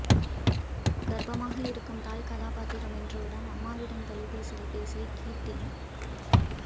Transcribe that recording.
கர்ப்பமாக இருக்கும் தாய் கதாபாத்திரம் என்றவுடன் அம்மாவிடம் தொலைபேசியில் பேசிய கீர்த்தி